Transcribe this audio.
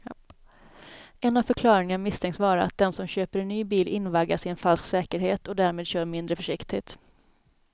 En av förklaringarna misstänks vara att den som köper en ny bil invaggas i en falsk säkerhet och därmed kör mindre försiktigt.